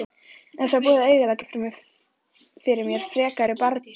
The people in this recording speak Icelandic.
En það var búið að eyðileggja fyrir mér frekari bardaga.